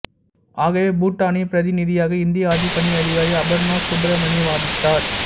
ஆகவே பூட்டானின் பிரதிநிதியாக இந்திய ஆட்சிப் பணி அதிகாரி அபர்ணா சுப்ரமணி வாதிட்டார்